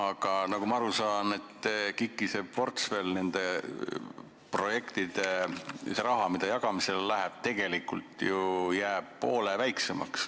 Ma saan aru, et KIK-i portfell jääb nende projektide koha pealt – see raha, mis jagamisele läheb – ju poole väiksemaks.